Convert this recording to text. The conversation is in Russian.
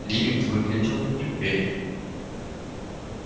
ли выглядел неуверенным